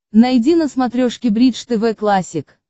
найди на смотрешке бридж тв классик